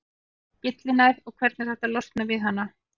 Hvað er gyllinæð og hvernig er hægt að losna við hana?